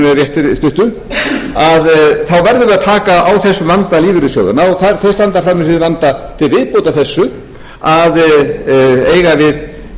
rétt fyrir stuttu þá verðum við að taka á þessum vanda lífeyrissjóðanna og þeir standa frammi fyrir þeim vanda til viðbótar þessu að eiga í deilum við